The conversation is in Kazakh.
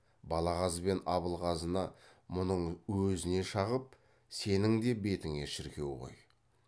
балағаз бен абылғазыны мұның өзіне шағып сенің де бетіңе шіркеу ғой